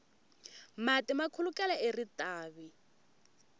mati ma khulukela eritavi